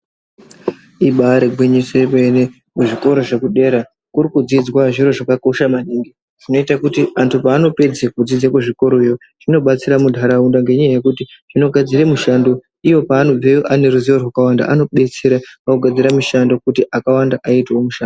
Ibaari gwinyiso yemene kuzvikora zvekudera kuri kudzidzwa zviro zvakakosha maningi zvinoite kuti antu paanopedze kudzidze kuzvikoroyo zvinobatsire muntaraunda ngenyaya yekuti zvinogadzire mishando iyo paanobveyo ane ruziwo rwakawanda anodetsera vanogadzire mishando kuti vakawanda vaitewo mishando.